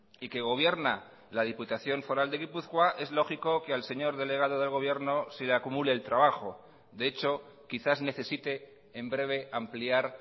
y que gobierna la diputación foral de gipuzkoa es lógico que al señor delegado de gobierno se le acumule el trabajo de hecho quizás necesite en breve ampliar